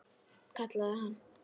Kallaði hann.